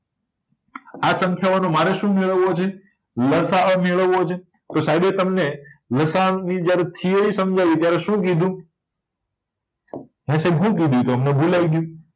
આ સંખ્યાઓનો મારે શું મેળવવો છે લસાઅ મેળવવો છે તો સાઈબે તમને લસાઅની થીયરી સમજાવી ત્યારે શું કીધુ હમને ભૂલાય ગયું